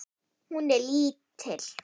Hún er lítil.